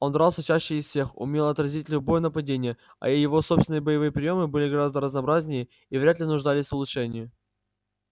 он дрался чаще из всех умел отразить любое нападение а его собственные боевые приёмы были гораздо разнообразнее и вряд ли нуждались в улучшении